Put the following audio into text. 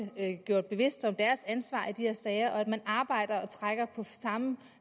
gjort bevidst om deres ansvar i de her sager og at man arbejder og trækker på samme